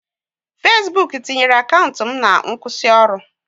Fesbuk tinyere akaụntụ m na nkwụsịoru